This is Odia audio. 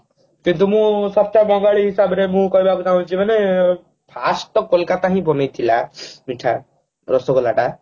କିନ୍ତୁ ମୁଁ ସତ ବଙ୍ଗାଳୀ ହିସାବରେ ମୁଁ କହିବାକୁ ଚାହୁଁଛି ମାନେ first ତ କୋଲକାତା ହିଁ ବନେଇଥିଲା ମିଠା ରସଗୋଲାଟା